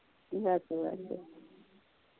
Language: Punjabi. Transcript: ਬਸ ਬਸ